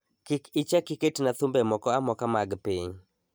Kik ichak iketna thumbe moko amoka mag piny